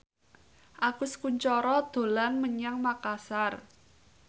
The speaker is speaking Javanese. Agus Kuncoro dolan menyang Makasar